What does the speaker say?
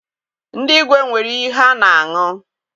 Ndị igwe nwere iyi ha na- aṅụ.